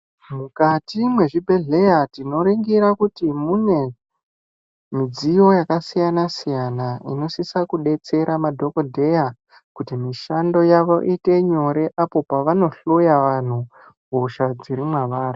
Mukati mwezvi bhedhleya tinoringira kuti munemidziyo yakasiyana siyana inosisa kubetsera madhokodheya kuti mishando yavo iyite nyore apo pavano hloya vanhu hosha dziri mavari.